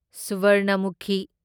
ꯁꯨꯚꯥꯔꯅꯃꯨꯈꯤ